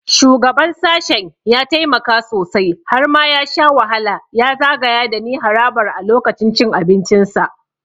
Shugaban sashen ya taimaka sosai - har ma ya sha wahala ya zagaya dani harabar a lokacin cin abincinsa.